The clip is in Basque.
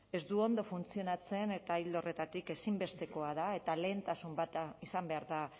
ez du ondo funtzionatzen eta ildo horretatik ezinbestekoa da eta lehentasun bat izan behar da